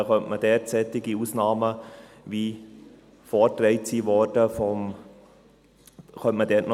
Dann könnte man dort auf solche Ausnahmen, wie sie vorgetragen wurden, eingehen.